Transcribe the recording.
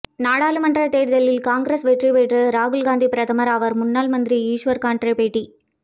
நாடாளுமன்ற தேர்தலில் காங்கிரஸ் வெற்றி பெற்று ராகுல் காந்தி பிரதமர் ஆவார்முன்னாள் மந்திரி ஈஸ்வர் கன்ட்ரே பேட்டி